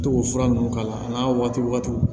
To k'o fura ninnu k'a la a n'a waatiw